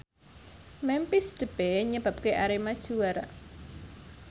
Memphis Depay nyebabke Arema juara